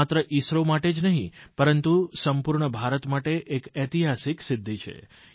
માત્ર ઇસરો માટે જ નહીં પરંતુ સંપૂર્ણ ભારત માટે એક ઐતિહાસિક સિદ્ધિ છે